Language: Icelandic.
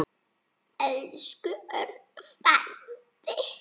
Elsku Örn frændi.